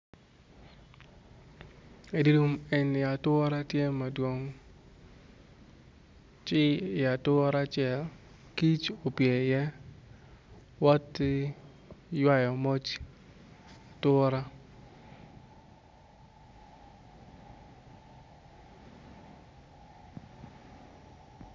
Eni ature tye madwong ci i ature acel ature opye ci woto ki ywayo moc ature.